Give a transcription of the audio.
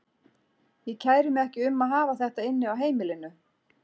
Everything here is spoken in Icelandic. Ég kæri mig ekki um að hafa þetta inni á heimilinu.